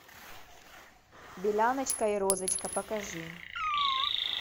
беляночка и розочка покажи